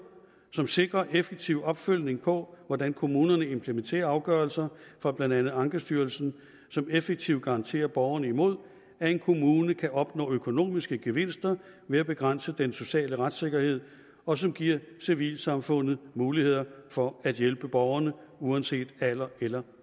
som sikrer effektiv opfølgning på hvordan kommunerne implementerer afgørelser fra blandt andet ankestyrelsen som effektivt garanterer borgerne imod at en kommune kan opnå økonomiske gevinster ved at begrænse den sociale retssikkerhed og som giver civilsamfundet muligheder for at hjælpe borgerne uanset alder eller